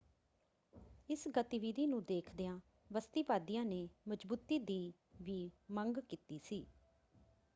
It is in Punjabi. ਇਸ ਗਤੀਵਿਧੀ ਨੂੰ ਦੇਖਦਿਆਂ ਬਸਤੀਵਾਦੀਆਂ ਨੇ ਮਜ਼ਬੂਤੀ ਦੀ ਵੀ ਮੰਗ ਕੀਤੀ ਸੀ।